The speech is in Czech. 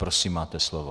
Prosím, máte slovo.